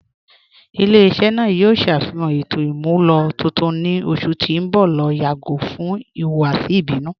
Ilẹ̀-iṣẹ naa yoo ṣafihan ètò imúlọ tuntun ni ọṣù ti n bọ̀ lati yagọ̀ fún ihuwasi ibinu.